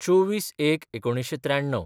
२४/०१/१९९३